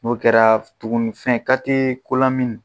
N'o kɛra tugunni fɛn kalite ko la min.